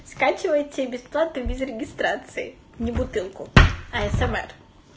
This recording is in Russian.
скачивайте бесплатно и без регистрации не бутылку а смр